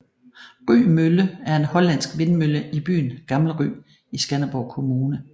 Rye Mølle er en hollandsk vindmølle i byen Gammel Rye i Skanderborg Kommune